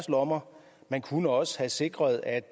lommer man kunne også have sikret at